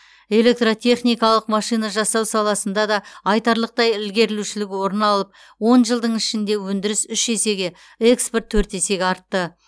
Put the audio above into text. электртехникалық машина жасау саласында да айтарлықтай ілгерілеушілік орын алып он жылдың ішінде өндіріс үш есеге экспорт төрт есеге артты